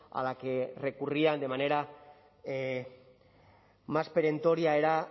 a la que recurrían de manera más perentoria era